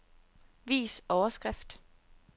Vis overskrift.